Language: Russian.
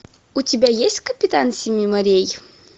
у тебя есть капитан семи морей